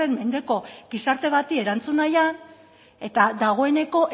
mendeko gizarte bati erantzuna nahian eta dagoeneko